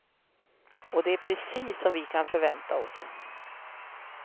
Och det är precis som vi kan förvänta oss.